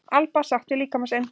Alba sátt við líkama sinn